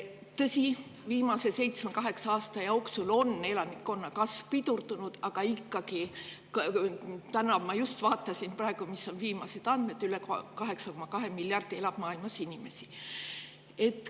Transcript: Tõsi, viimase seitsme-kaheksa aasta jooksul on küll elanikkonna kasv pidurdunud, aga ikkagi, ma just praegu vaatasin, millised on viimased andmed selle kohta – maailmas elab üle 8,2 miljardi inimese.